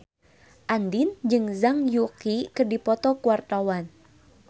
Andien jeung Zhang Yuqi keur dipoto ku wartawan